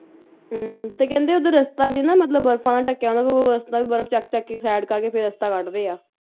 ਹੁੰ ਤੇ ਕਹਿੰਦੇ ਉਧਰ ਰਸਤਾ ਵੀ ਨਾ ਮਤਲਬ ਬਰਫ਼ਾਂ ਨਾਲ ਢੱਕਿਆ ਹੁੰਦਾ ਲੋਕ ਰਸਤਾ ਵੀ ਬਰਫ ਚੱਕ ਚੱਕ ਕੇ side ਕਰਕੇ ਫੇਰ ਰਸਤਾ ਕੱਢਦੇ ਆ